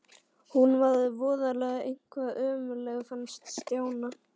Hún var voðalega eitthvað ömmuleg fannst Stjána.